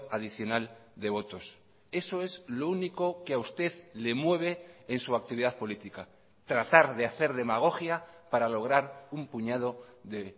adicional de votos eso es lo único que a usted le mueve en su actividad política tratar de hacer demagogia para lograr un puñado de